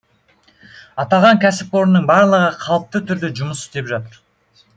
аталған кәсіпорынның барлығы қалыпты түрде жұмыс істеп жатыр